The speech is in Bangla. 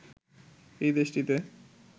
এই দেশটিতে